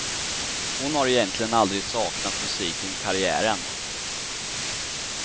Hon har egentligen aldrig saknat musiken och karriären.